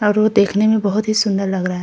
और वो देखने में बोहोत ही सुंदर लग रहा --